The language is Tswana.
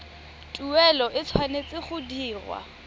tuelo e tshwanetse go dirwa